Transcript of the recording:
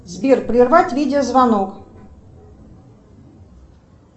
сбер прервать видеозвонок